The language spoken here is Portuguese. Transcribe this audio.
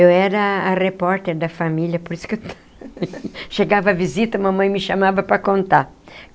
Eu era a repórter da família, por isso que eu... Chegava a visita, a mamãe me chamava para contar.